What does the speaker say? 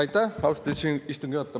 Aitäh, austatud istungi juhataja!